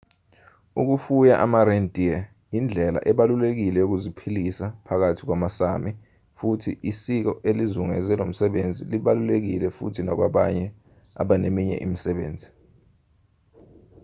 ukufuya ama-reindeer indlela ebalulekile yokuziphilisa phakathi kwamasámi futhi isiko elizungeze lomsebenzi libalulekile futhi nakwabanye abaneminye imisebenzi